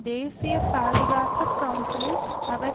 தேசிய பாதுகாப்பு கவுன்சிலில் அவர்